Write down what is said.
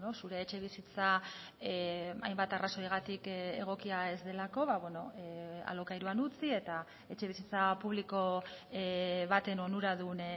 zure etxebizitza hainbat arrazoigatik egokia ez delako alokairuan utzi eta etxebizitza publiko baten onuradun